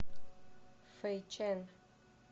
фэйчэн